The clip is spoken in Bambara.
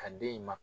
Ka den in ma